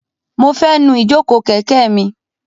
Mo fẹ́ nu ìjókòó kẹ̀kẹ́ mi.